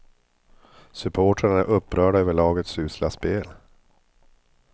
Supportrarna är upprörda över lagets usla spel.